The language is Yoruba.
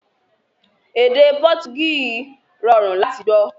Èdè Pọtugí rọrùn láti gbọ́